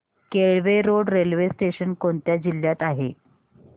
Kelve road railway station कोणत्या जिल्ह्यात आहे